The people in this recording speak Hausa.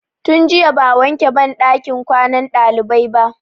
Tun jiya ba'a wanke banɗakin ɗakin kwanan ɗalibai ba.